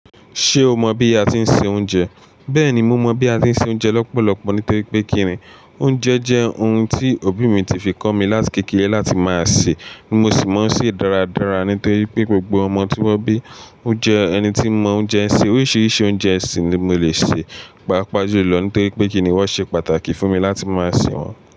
Ṣé o mọ bí a ti ń se oúnjẹ? Bẹ́ẹ̀ni, mo mọ bí a ti ń se oúnjẹ lọ́pọ̀lọ́pọ̀ nítorí pé kíni, oúnjẹ jẹ́ ohun tí òbí mi ti fi kọ́ mi láti kékeré láti máa sè, mo sì máa ń sè dáradára nítorí pé gbogbo ọmọ tí wọ́n bí, ó jẹ́ ẹni tí mọ oúnjẹ. So oríṣiríṣi oúnjẹ sì ni mo lè sè, pàápàá ju lọ nítorí pé kíni wọ́n ṣe pàtàkì fún mi láti máa sè wọ́n.